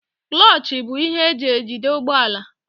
Kúlochi bụ ihe eji ejide ụgbọala.